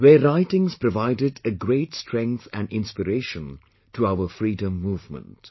Their writings provided a great strength and inspiration to our Freedom Movement